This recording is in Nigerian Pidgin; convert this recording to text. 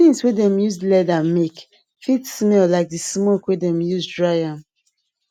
things wey dem use leather make fit smell like the smoke wey dem use dry am